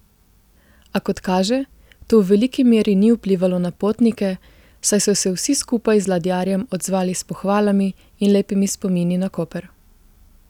A kot kaže, to v veliki meri ni vplivalo na potnike, saj so se vsi skupaj z ladjarjem odzvali s pohvalami in lepimi spomini na Koper.